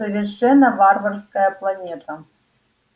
совершенно варварская планета